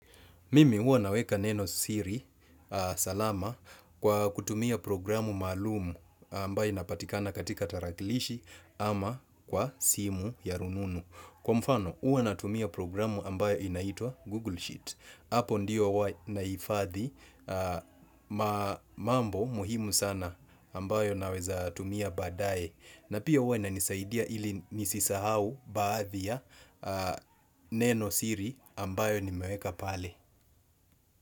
Mimi huwa naweka neno siri salama kwa kutumia programu malumu ambayo inapatikana katika tarakilishi ama kwa simu ya rununu. Kwa mfano huwa natumia programu ambayo inaitwa Google Sheet. Hapo ndio huwa nahifadhi mambo muhimu sana ambayo naweza tumia baadaye. Na pia huwa inanisaidia ili nisisahau baadhi ya neno siri ambayo nimeweka pale.